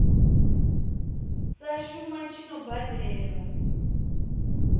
sa shuma tshi no badelwa